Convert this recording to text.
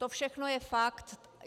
To všechno je fakt.